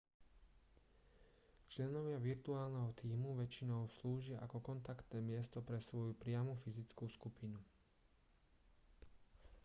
členovia virtuálneho tímu väčšinou slúžia ako kontaktné miesto pre svoju priamu fyzickú skupinu